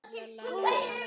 Þetta byrjaði vel.